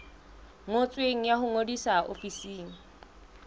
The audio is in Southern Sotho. ngotsweng ya ho ngodisa ofising